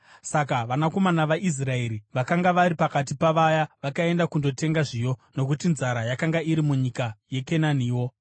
Saka vanakomana vaIsraeri vakanga vari pakati pavaya vakaenda kundotenga zviyo, nokuti nzara yakanga iri munyika yeKenaniwo.